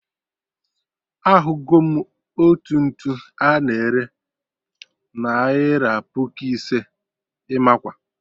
Ahụgo m otu ntu a na-ere naira puku ise, Imakwa!